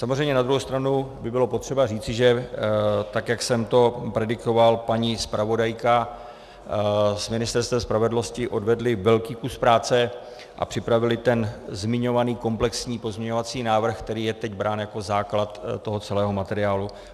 Samozřejmě na druhou stranu by bylo potřeba říci, že tak jak jsem to predikoval, paní zpravodajka s Ministerstvem spravedlnosti odvedly velký kus práce a připravily ten zmiňovaný komplexní pozměňovací návrh, který je teď brán jako základ toho celého materiálu.